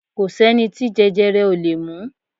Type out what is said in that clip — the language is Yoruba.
Kò sẹ́ni tí jẹjẹrẹ ò lè mú